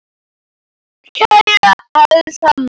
Kæra Elsa amma.